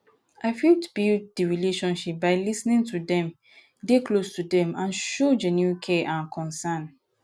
i fit build di relationships by lis ten ing to dem dey close to dem and show show genuine care and concern